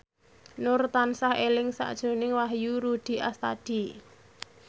Nur tansah eling sakjroning Wahyu Rudi Astadi